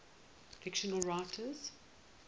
fictional writers